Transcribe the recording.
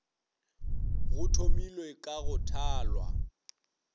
go thomilwe ka go thalwa